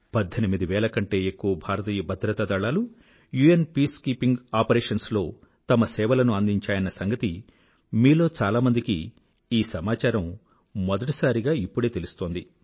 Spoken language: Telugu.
18 వేల కంటే ఎక్కువ భారతీయ భద్రతా దళాలు యుఎన్ పీసుకీపింగ్ ఆపరేషన్స్ లో తమ సేవలను అందించాయన్న సంగతి మీలో చాలామందికి ఈ సమాచారం మొదటిసారిగా ఇప్పుడే తెలుస్తోంది